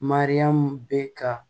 Mariyamu bɛ ka